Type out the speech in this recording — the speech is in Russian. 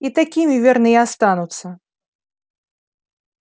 и такими верно и останутся